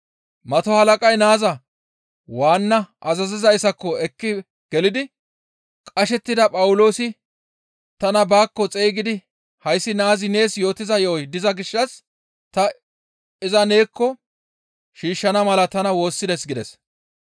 Mato halaqay naaza waanna azazizayssako ekki gelidi, «Qashettida Phawuloosi tana baakko xeygidi hayssi naazi nees yootiza yo7oy diza gishshas ta iza neekko shiishshana mala tana woossides» gides.